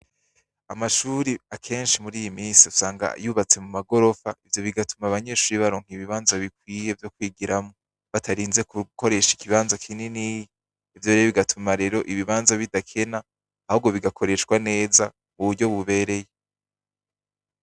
Amashure akenshi muri iyi minsi usanga yubatse mu magorofa ,ivyo bigatuma abanyeshure baronka ibibanza bikwiye vyo kwigiramwo batarinze gukoresha ikibanza kininiya, ivyorero bigatuma ibanza bidakenaahubwo bigakoreshwa neza muburyo bubereye.